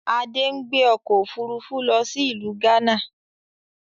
Adé ń gbé ọkọ̀ Òfurufú lọ sí ìlú gánà